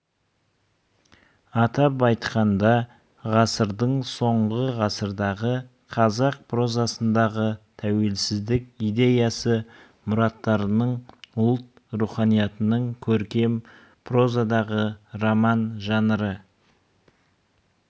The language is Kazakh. атап айтқанда ғасырдың соңы ғасырдағы қазақ прозасындағы тәуелсіздік идеясы мұраттарының ұлт руханиятының көркем прозадағы роман жанры